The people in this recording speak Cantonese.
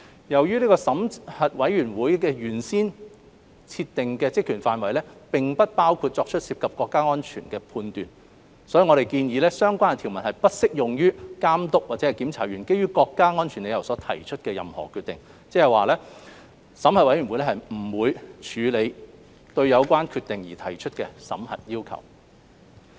由於審核委員會的原先設定職權範圍並不包括作出涉及國家安全的判斷，因此我們建議相關條文不適用於監督或檢查員基於國家安全理由所提出的任何決定，即審核委員會不會處理對有關決定而提出的審核要求。